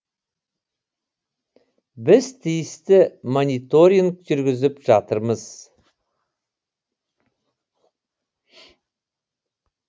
біз тиісті мониторинг жүргізіп жатырмыз